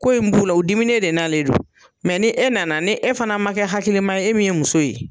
Ko in b'u la o diminen de nalen don mɛ ni e nana ni e fana ma kɛ hakilima ye, e min ye muso ye